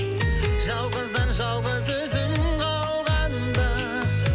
жалғыздан жалғыз өзім қалғанда